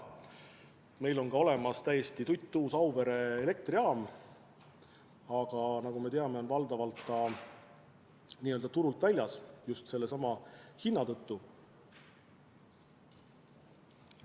Meil on ka olemas täiesti tuttuus Auvere elektrijaam, aga nagu me teame, on see valdavalt n-ö turult väljas just sellesama hinna tõttu.